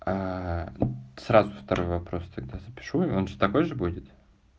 сразу второй вопрос тогда запишу и он же такой же будет